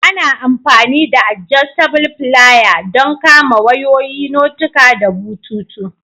Ana amfani da "adjustable filier" don kama wayoyi, notuka da bututu.